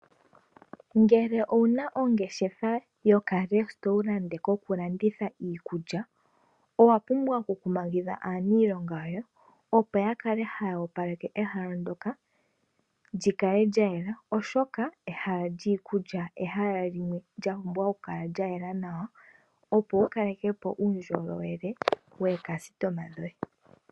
Ngele owuna ongeshefa yaka restaurant yoku landitha iikulya owa pumbwa oku kumagidha aaniilonga yoye opo yakale haya opaleke ehala lyoka lyikale lyayela, oshoka ehala lyiikulya olya pumbwa oku kala lyayela nawa opo wukaleke po uundjolowele waalandi yoye.